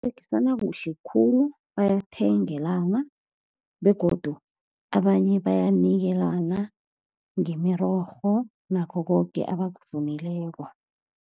Baberegisana kuhle khulu. Bayathengelana, begodu abanye bayanikelana ngemirorho, nakho koke abakuvunileko.